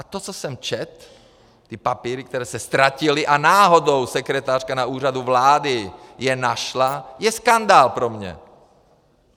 A to, co jsem četl, ty papíry, které se ztratily, a náhodou sekretářka na Úřadu vlády je našla, je skandál pro mě!